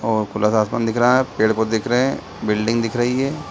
खुला सा आसमान दिख रहा है। पेड़ पोधे दिख रहे हैं। बिल्डिंग दिख रही है।